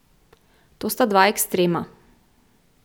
To sta dva ekstrema.